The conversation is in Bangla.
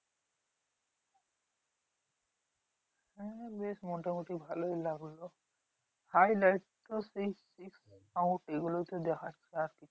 হ্যাঁ বেশ মোটামুটি ভালোই লাগলো highlight তো দেখছি গুলোতে দেখাচ্ছে আর